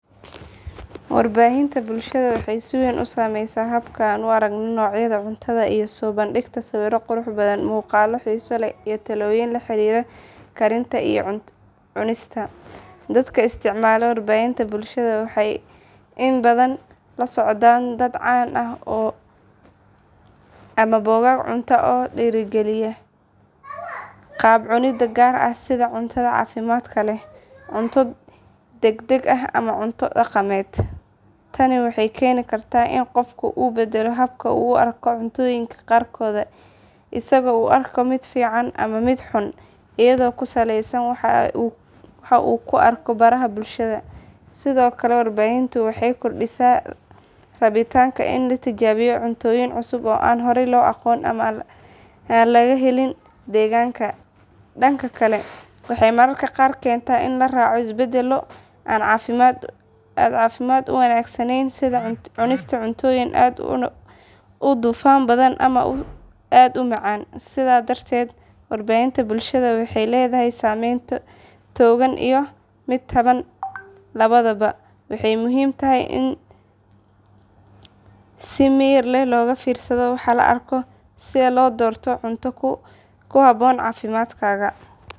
Warbaahinta bulshada waxay si weyn u saameysaa habka aan u aragno noocyada cuntada iyadoo soo bandhigta sawirro qurux badan, muuqaallo xiiso leh iyo talooyin la xiriira karinta iyo cunista. Dadka isticmaala warbaahinta bulshada waxay inta badan la socdaan dad caan ah ama bogag cunto oo dhiirrigeliya qaab cunid gaar ah sida cunto caafimaad leh, cunto degdeg ah ama cunto dhaqameed. Tani waxay keeni kartaa in qofku uu beddelo habka uu u arko cuntooyinka qaarkood, isagoo u arka mid fiican ama mid xun iyadoo ku saleysan waxa uu ku arkay baraha bulshada. Sidoo kale warbaahintu waxay kordhisaa rabitaanka in la tijaabiyo cuntooyin cusub oo aan horay loo aqoon ama aan laga helin deegaanka. Dhanka kale, waxay mararka qaar keentaa in la raaco isbeddello aan caafimaad u wanaagsaneyn sida cunista cuntooyin aad u dufan badan ama aad u macaan. Sidaas darteed warbaahinta bulshada waxay leedahay saameyn togan iyo mid taban labadaba, waxayna muhiim tahay in si miyir leh looga fiirsado waxa la arko si loo doorto cunto ku habboon caafimaadkaaga.